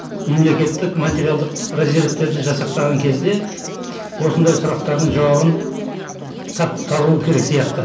мемлекеттік материалдық резервтерді жасақтаған кезде осындай сұрақтардың жауабын табуым керек сияқты